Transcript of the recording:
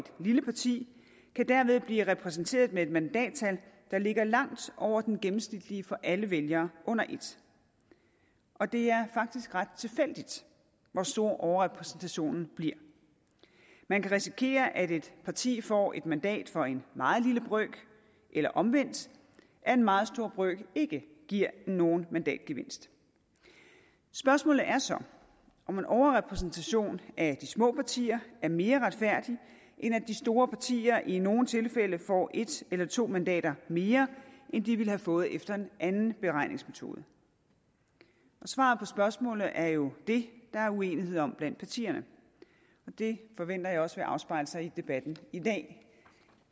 lille parti kan dermed blive repræsenteret med et mandattal der ligger langt over den gennemsnitlige for alle vælgere under ét og det er faktisk ret tilfældigt hvor stor overrepræsentationen bliver man kan risikere at et parti får et mandat for en meget lille brøk eller omvendt at en meget stor brøk ikke giver nogen mandatgevinst spørgsmålet er så om en overrepræsentation af de små partier er mere retfærdig end at de store partier i nogle tilfælde får en eller to mandater mere end de ville have fået efter en anden beregningsmetode svaret på spørgsmålet er jo det der er uenighed om blandt partierne og det forventer jeg også vil afspejle sig i debatten i dag